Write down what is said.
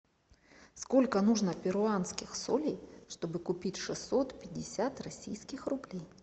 сколько нужно перуанских солей чтобы купить шестьсот пятьдесят российских рублей